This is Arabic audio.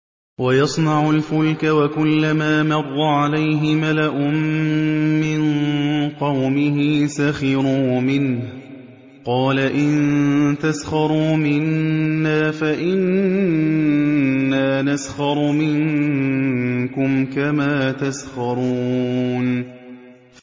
وَيَصْنَعُ الْفُلْكَ وَكُلَّمَا مَرَّ عَلَيْهِ مَلَأٌ مِّن قَوْمِهِ سَخِرُوا مِنْهُ ۚ قَالَ إِن تَسْخَرُوا مِنَّا فَإِنَّا نَسْخَرُ مِنكُمْ كَمَا تَسْخَرُونَ